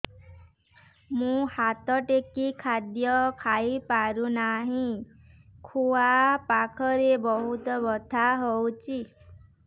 ମୁ ହାତ ଟେକି ଖାଦ୍ୟ ଖାଇପାରୁନାହିଁ ଖୁଆ ପାଖରେ ବହୁତ ବଥା ହଉଚି